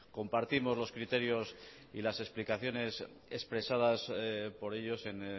compartimos los criterios y las explicaciones expresadas por ellos en